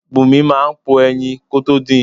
Bùnmi máà ń po ẹyin kótó din.